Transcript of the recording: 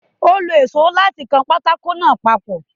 Ó lo èsó láti kan pákó náà papọ̀.